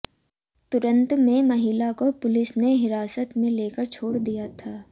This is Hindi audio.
तुरंत में महिला को पुलिस ने हिरासत में लेकर छोड़ दिया था